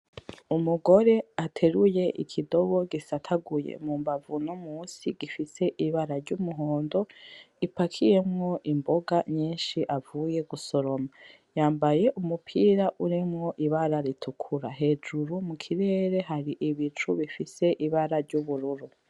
Umugore ateruye ikidobo gisataguye mu mbavu no musi gifise ibara ry'umuhondo gipakiyemwo imboga nyinshi avuye gusoroma, yambaye umupira urimwo ibara ritukura, hejuru mukirere hari ibicu bifise ibara ry'ubururu.